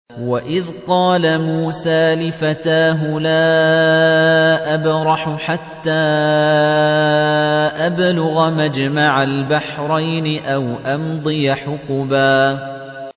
وَإِذْ قَالَ مُوسَىٰ لِفَتَاهُ لَا أَبْرَحُ حَتَّىٰ أَبْلُغَ مَجْمَعَ الْبَحْرَيْنِ أَوْ أَمْضِيَ حُقُبًا